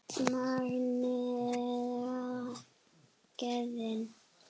Magnið eða gæðin?